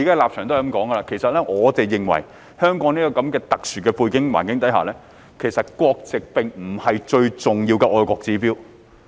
其實，我們認為首先一定要認定，香港在這個特殊的背景和環境下，國籍並不是最重要的愛國指標。